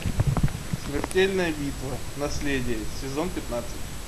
смертельная битва наследие сезон пятнадцать